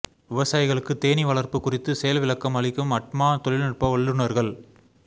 விவசாயிகளுக்கு தேனீ வளா்ப்பு குறித்து செயல்விளக்கம் அளிக்கும் அட்மா தொழில்நுட்ப வல்லுநா்கள்